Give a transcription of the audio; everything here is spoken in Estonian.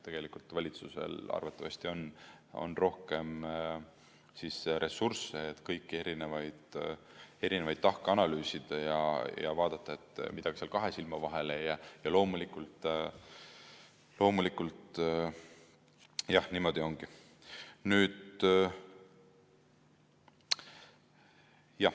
Tegelikult valitsusel arvatavasti on rohkem ressursse, et kõiki tahke analüüsida ja vaadata, et midagi seal kahe silma vahele ei jää.